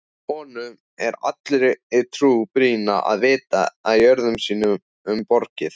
Honum er allri trú brýnna að vita jörðum sínum borgið.